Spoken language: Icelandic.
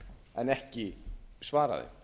en ekki svara